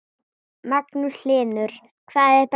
Magnús Hlynur: Hvað er best?